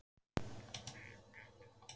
Er þetta freistandi fyrir þig?